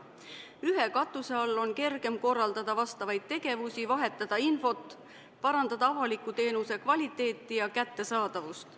Ühe katuse all on kergem korraldada vajalikke tegevusi, vahetada infot, parandada avaliku teenuse kvaliteeti ja kättesaadavust.